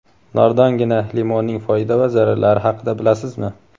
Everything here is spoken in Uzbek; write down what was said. Nordongina limonning foyda va zararlari haqida bilasizmi?.